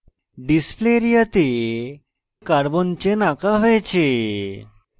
display area তে carbon chain আঁকা হয়েছে